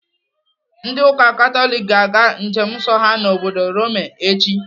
Ndị ụka Katọlik ga-aga njem nsọ ha n'obodo Rome echi.